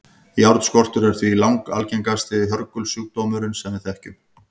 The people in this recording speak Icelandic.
járnskortur er því langalgengasti hörgulsjúkdómurinn sem við þekkjum